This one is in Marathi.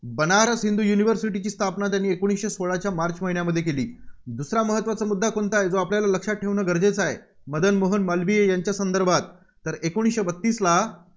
बनारस हिंदू युनिव्हर्सिटीची स्थापना त्यांनी एकोणीसशे सोळाच्या मार्च महिन्यामध्ये केली. दुसरा महत्त्वाचा मुद्दा कोणता आहे, जो आपल्याला लक्षात ठेवणं गरजेचं आहे? मदन मोहन मालवीय यांच्या संदर्भात, एकोणीसशे बत्तीसला